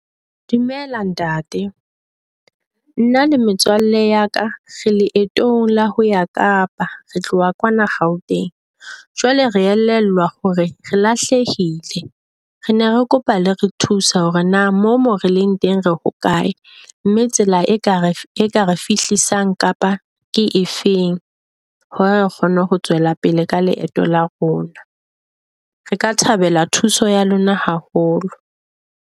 Dumela ntate, nna a le metswalle ya ka re leetong la ho ya Kapa re tloha kwana Gauteng. Jwale re elellwa hore re lahlehile, re ne re kopa le re thuse hore na mo mo releng teng re hokae. mme tsela e kare re fihlisang Kapa ke efeng hore re kgone ho tswela pele ka leeto la rona. Re ka thabela thuso ya lona haholo.